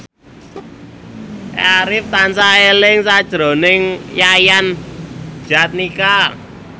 Arif tansah eling sakjroning Yayan Jatnika